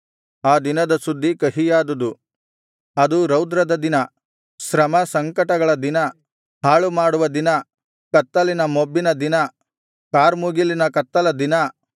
ಆ ದಿನದ ಸುದ್ದಿ ಕಹಿಯಾದುದು ಅದು ರೌದ್ರದ ದಿನ ಶ್ರಮಸಂಕಟಗಳ ದಿನ ಹಾಳುಪಾಳುಮಾಡುವ ದಿನ ಕತ್ತಲಿನ ಮೊಬ್ಬಿನ ದಿನ ಕಾರ್ಮುಗಿಲ ಕಗ್ಗತ್ತಲ ದಿನ